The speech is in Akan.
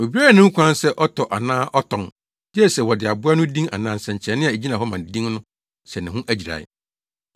Obiara nni ho kwan sɛ ɔtɔ anaa ɔtɔn, gye sɛ wɔde aboa no din anaa nsɛnkyerɛnne a egyina hɔ ma din no hyɛ ne ho agyirae.